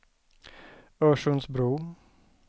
Örsundsbro